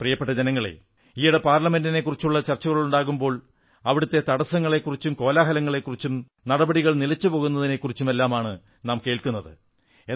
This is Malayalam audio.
പ്രിയപ്പെട്ട ജനങ്ങളേ ഈയിടെ പാർലമെന്റിനെക്കുറിച്ചുള്ള ചർച്ചകളുണ്ടാകുമ്പോൾ അവിടത്തെ തടസ്സങ്ങളെക്കുറിച്ചും കോലാഹലങ്ങളെക്കുറിച്ചും നടപടികൾ നിലച്ചുപോകുന്നതിനെക്കുറിച്ചുമെല്ലാമാണ് കേൾക്കുന്നത്